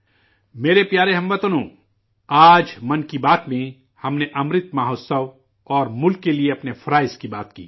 میرے پیارے ہم وطنو، آج 'من کی بات' میں ہم نے 'امرت مہوتسو' اور ملک کے لیے اپنے فرائض کی بات کی